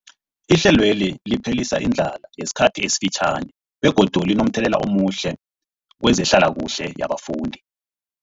Ihlelweli liphelisa indlala yesikhathi esifitjhani begodu linomthelela omuhle kezehlalakuhle yabafundi.